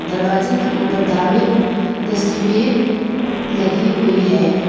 दरवाजे के ऊपर धार्मिक तस्वीर लगी हुई है।